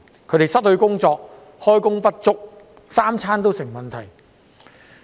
他們失去工作或開工不足，三餐也成問題。